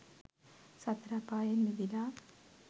සතර අපායෙන් මිදිලා